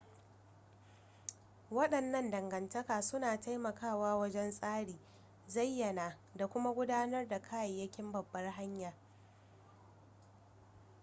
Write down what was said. wadannan dangantaka suna taimakawa wajen tsari zayyana da kuma gudanar da kayayyakin babbar hanya